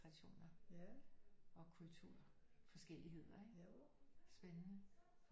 Traditioner og kultur forskelligheder ikke spændende